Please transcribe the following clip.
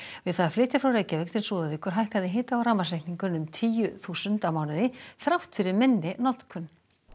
við það að flytja frá Reykjavík til Súðavíkur hækkaði hita og rafmagnsreikningurinn um tíu þúsund á mánuði þrátt fyrir minni notkun